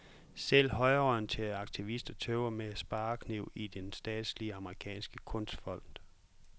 Selv højreorienterede aktivister tøver med sparekniv i den statslige amerikanske kunstfond.